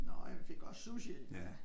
Nå ja vi fik også sushi ja